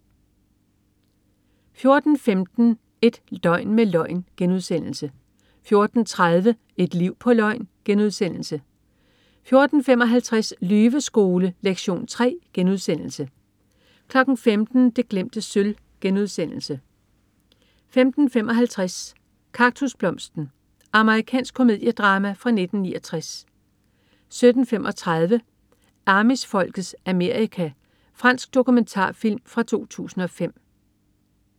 14.15 Et døgn med løgn* 14.30 Et liv på løgn* 14.55 Lyveskole lektion 3* 15.00 Det glemte sølv* 15.55 Kaktusblomsten. Amerikansk komediedrama fra 1969 17.35 Amish-folkets Amerika. Fransk dokumentarfilm fra 2005